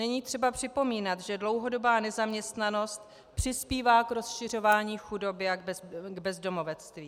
Není třeba připomínat, že dlouhodobá nezaměstnanost přispívá k rozšiřování chudoby a k bezdomovectví.